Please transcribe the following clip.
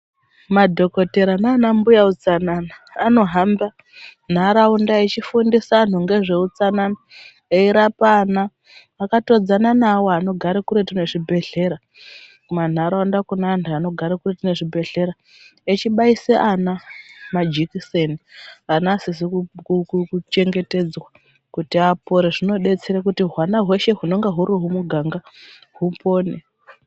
Madhokotera nana mbuya utsanana anohamba nharaunda echifundisa anhu ngezveutsanana , eirapa ana akatodzana neawo anogara kuretu ngezvibhedhlera kumanharaunda kune anhu anogara kuretu nezvibhedhlera echibaise ana majekiseni vana vasizi kuchengetedzwa kuti apore zvinodetsere kuti hwana hweshe hunonga hurimuganga hupone.